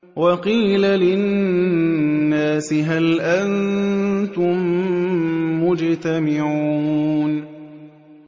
وَقِيلَ لِلنَّاسِ هَلْ أَنتُم مُّجْتَمِعُونَ